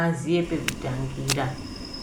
aziye pekutangira.